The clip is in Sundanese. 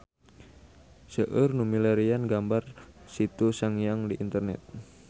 Seueur nu milarian gambar Situ Sangiang di internet